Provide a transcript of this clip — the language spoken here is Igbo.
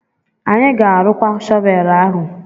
Anyị ga-arụkwa shọvel ahu.